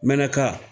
Mɛka